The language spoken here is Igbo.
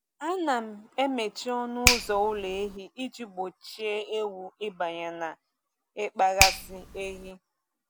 A na-emechi ọnụ ụzọ ụlọ ehi iji gbochie ewu ịbanye na ịkpaghasị ehi.